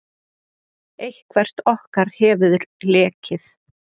Eitthvert okkar hefur lekið.